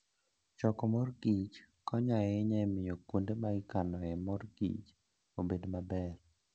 Choko mor kich konyo ahinya e miyo kuonde ma ikanoe mor kich obed maber.